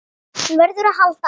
Hún verður að halda áfram.